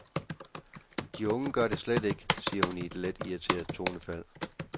De unge gør det slet ikke, siger hun i et let irriteret tonefald.